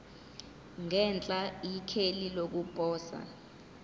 ngenhla ikheli lokuposa